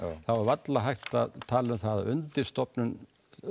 þá er varla hægt að tala um það að undirstofnun